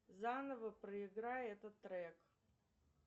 заново проиграй этот трек